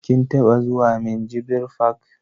Kin taɓa zuwa minjibir fak?